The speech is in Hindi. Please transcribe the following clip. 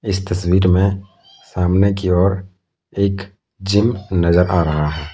तस्वीर में सामने की ओर एक जिम नजर आ रहा है।